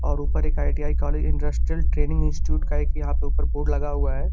और उपर एक ITI. College industrial training institute का एक यहाँ पे उपर बोर्ड लगा हुआ है।